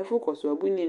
Ɛfʋ kɔsʋ ubuini